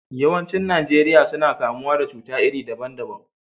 Yawancin Najeriya suna kamuwa da cuta iri daban daban.